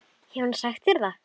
Hefur hann sagt þér það?